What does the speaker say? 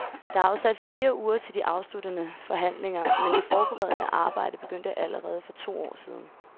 Der er afsat fire uger til de afsluttende forhandlinger, men det forberedende arbejde begyndte allerede for to år siden.